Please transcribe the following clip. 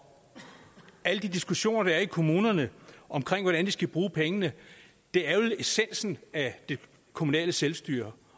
alle de diskussioner der er i kommunerne om hvordan de skal bruge pengene er jo essensen af det kommunale selvstyre